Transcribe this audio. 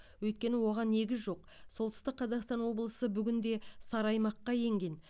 өйткені оған негіз жоқ солтүстік қазақстан облысы гінде сары аймаққа енген